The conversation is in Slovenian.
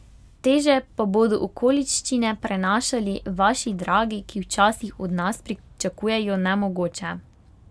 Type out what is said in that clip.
Teže pa bodo okoliščine prenašali vaši dragi, ki včasih od vas pričakujejo nemogoče.